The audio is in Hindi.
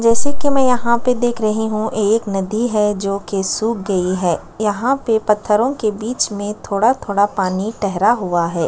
जैसे की मैं यहाँ पे देख रही हु एक नदी है जोकि सुक गयी है यहाँ पे पत्थरो के बीच में थोड़ा-थोड़ा पानी ठहरा हुआ है।